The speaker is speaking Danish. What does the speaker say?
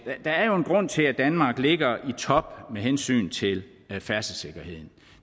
der er jo en grund til at danmark ligger i top med hensyn til færdselssikkerhed